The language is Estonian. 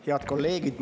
Head kolleegid!